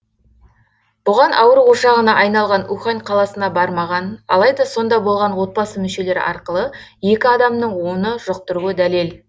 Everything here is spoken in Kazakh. бұған ауру ошағына айналған ухань қаласына бармаған алайда сонда болған отбасы мүшелері арқылы екі адамның оны жұқтыруы дәлел